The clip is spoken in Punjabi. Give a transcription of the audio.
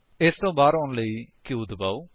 ਇਸ ਤੋਂ ਬਾਹਰ ਆਉਣ ਲਈ q ਦਬਾਓ